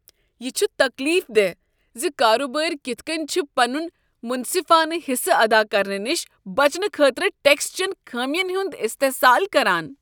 یہ چھ تکلیف دہ ز کارٕبٲرۍ کتھہٕ کٔنۍ چھِ پنن منصفانہٕ حصہٕ ادا کرنہٕ نشہ بچنہٕ خٲطرٕ ٹیکس چین خامین ہند استحصال کران۔